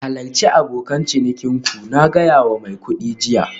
Halarci abokan cinikin ku, na gaya wa mai kuɗi jiya